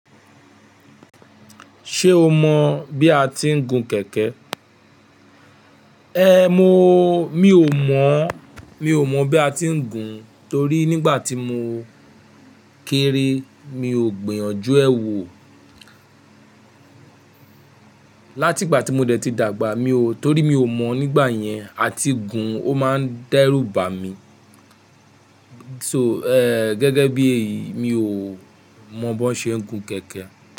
Ṣé o mọ bí a ti ń gun kẹ̀kẹ́? Ehn mi ò mọ̀, mi ò mọ̀ bí a ti ń gun torí nígbà tí mo kéré mi ò gbìyànjú ẹ́ wò. Látìgbà tí mo dẹ̀ ti dàgbà mi ò, torí mi ò mọ̀ nígbà yẹn, a ti ń gun ó máa ń dẹ́rù bà mí. So, eh gẹ́gẹ́ bí èyí mi ò mọ̀ bó ṣe ń gun kẹ̀kẹ́